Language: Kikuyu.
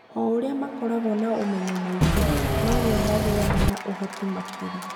O ũrĩa makoragwo na ũmenyo mũingĩ, noguo magĩaga na ũhoti makĩria.